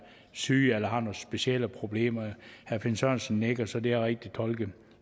syge eller har nogle specielle problemer herre finn sørensen nikker så det er rigtigt tolket